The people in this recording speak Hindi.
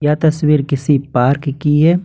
यह तस्वीर किसी पार्क की है।